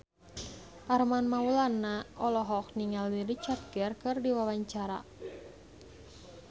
Armand Maulana olohok ningali Richard Gere keur diwawancara